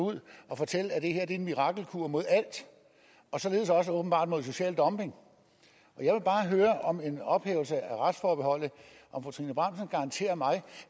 ud og fortælle at det her er en mirakelkur imod alt og således også åbenbart imod social dumping jeg vil bare høre om efter en ophævelse af retsforbeholdet kan garantere mig